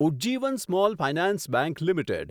Ujjivan small finance bank limited